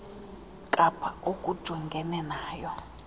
kapa olujongene nayo